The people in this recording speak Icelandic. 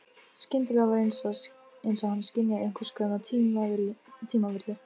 Skyndilega var einsog hann skynjaði einhvers konar tímavillu.